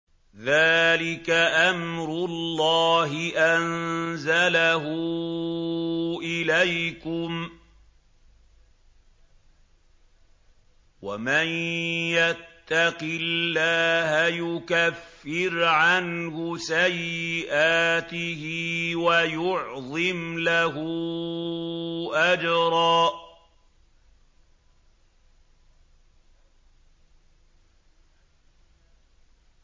ذَٰلِكَ أَمْرُ اللَّهِ أَنزَلَهُ إِلَيْكُمْ ۚ وَمَن يَتَّقِ اللَّهَ يُكَفِّرْ عَنْهُ سَيِّئَاتِهِ وَيُعْظِمْ لَهُ أَجْرًا